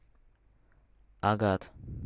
агат